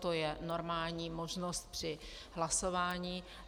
To je normální možnost při hlasování.